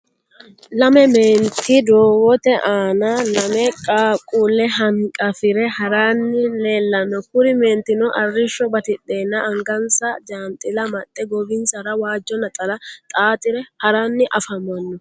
lamme meenti doogote aanna lamme qaquule hanqafirre haranni leelanno kuri meentino arishsho batidheenna angansa janxilla amaxe goowinsaranno waajo naxala xaaxire haranni afamanno.